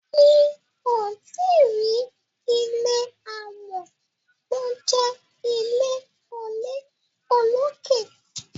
mi'o tí rí ilé amò tó jé ilé olokè.